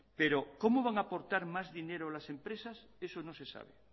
pero cómo van a aportar más dinero las empresas eso no se sabe